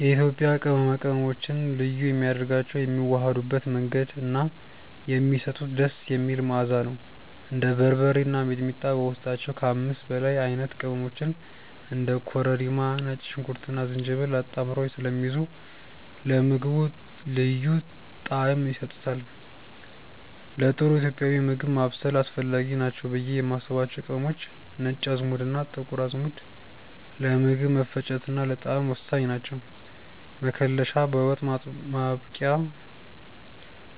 የኢትዮጵያ ቅመማ ቅመሞችን ልዩ የሚያደርጋቸው የሚዋሃዱበት መንገድ እና የሚሰጡት ደስ የሚል መዓዛ ነው። እንደ በርበሬ እና ሚጥሚጣ በውስጣቸው ከ5 በላይ አይነት ቅመሞችን (እንደ ኮረሪማ፣ ነጭ ሽንኩርትና ዝንጅብል) አጣምረው ስለሚይዙ ለምግቡ ልዩ ጣዕም ይሰጡታል። ለጥሩ ኢትዮጵያዊ ምግብ ማብሰል አስፈላጊ ናቸው ብዬ የማስባቸው ቅመሞች፦ ነጭ አዝሙድና ጥቁር አዝሙድ፦ ለምግብ መፈጨትና ለጣዕም ወሳኝ ናቸው። መከለሻ፦ በወጥ ማብቂያ